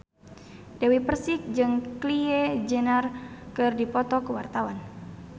Dewi Persik jeung Kylie Jenner keur dipoto ku wartawan